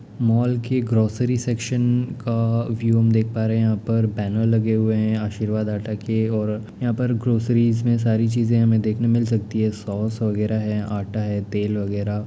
mall के grocery section का view हम देख पा रहे हैं हम यहाँ पर बैनर लगे हुए हैं आर्शीवाद आटा के और यहाँ पर ग्रोसरीस में सारी चीजें हमें देखने मिल सकती हैं सॉस वगेरा है आटा है तेल वगेरा --